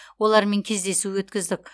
олармен кездесу өткіздік